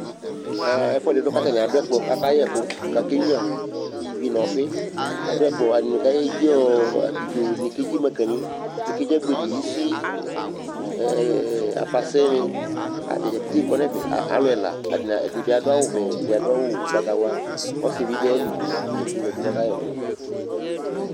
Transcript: Ɛɛ ɛfʋɛdɩ dʋ kʋ atanɩ adʋ ɛkplɔ kʋ akayɛ ɛkʋ kʋ akenyuǝ ivi nʋ ɔfɩ Adʋ ɛkplɔ, atanɩ ay edzi ɔɔ abidzon, ɛdɩnɩ kedzi maŋkanɩ, ɛdɩ kedzi agbedi, isi, ɛɛ afase kʋ ata dza pete kɔnʋ ɛfɛ aa alʋ ɛla Atanɩ ɛdɩ bɩ adʋ awʋvɛ, ɛdɩ adʋ awʋ ʋgbatawla Ɔsɩ bɩ dʋ ayili Ata dza kplo zati kʋ akayɛ ɛkʋ